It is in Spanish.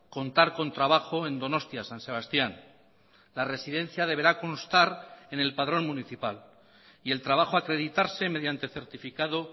contar con trabajo en donostia san sebastián la residencia deberá constar en el padrón municipal y el trabajo acreditarse mediante certificado